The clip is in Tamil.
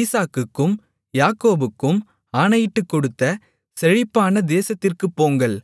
ஈசாக்குக்கும் யாக்கோபுக்கும் ஆணையிட்டுக்கொடுத்த செழிப்பான தேசத்திற்குப் போங்கள்